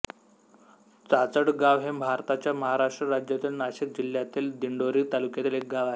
चाचडगाव हे भारताच्या महाराष्ट्र राज्यातील नाशिक जिल्ह्यातील दिंडोरी तालुक्यातील एक गाव आहे